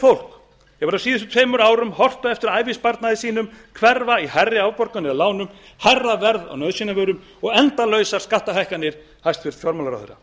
fólk hefur á síðustu tveimur árum horft á eftir ævisparnaði sínum hverfa í hærri afborganir af lánum hærra verð á nauðsynjavörum og endalausar skattahækkanir hæstvirtur fjármálaráðherra